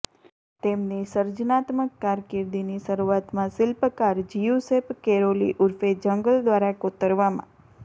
તેમની સર્જનાત્મક કારકિર્દીની શરૂઆતમાં શિલ્પકાર જિયુસેપ કેરોલી ઉર્ફે જંગલ દ્વારા કોતરવામાં